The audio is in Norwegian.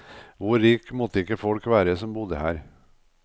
Hvor rik måtte ikke folk være som bodde her.